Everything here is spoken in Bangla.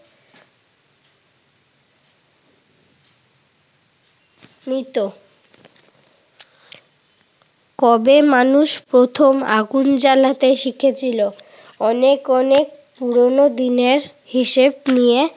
মৃত কবে মানুষ প্রথম আগুন জ্বালাতে শিখেছিল? অনেক অনেক পুরোনো দিনের হিসেব নিয়ে